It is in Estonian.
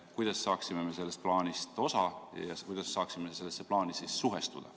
Kuidas me saaksime sellest plaanist osa ja kuidas me peaksime selle plaaniga suhestuma?